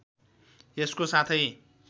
यसको साथै